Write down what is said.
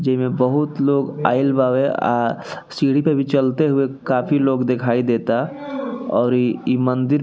जेमे बहुत लोग आईल बावे आ सीढ़ी पे भी चलते हुए काफी लोग दिखाई देता और ई मन्दिर --